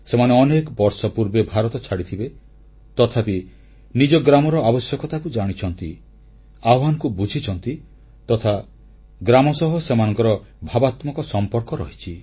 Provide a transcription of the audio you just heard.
ସେମାନେ ଅନେକ ବର୍ଷ ପୂର୍ବେ ଭାରତ ଛାଡ଼ିଥିବେ ତଥାପି ନିଜ ଗ୍ରାମର ଆବଶ୍ୟକତାକୁ ଜାଣିଛନ୍ତି ଆହ୍ୱାନକୁ ବୁଝିଛନ୍ତି ତଥା ଗ୍ରାମ ସହ ସେମାନଙ୍କର ଭାବାତ୍ମକ ସମ୍ପର୍କ ରହିଛି